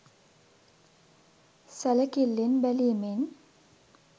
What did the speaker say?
සැළකිල්ලෙන් බැලීමෙන්